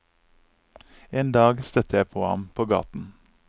En dag støtte jeg på ham på gaten.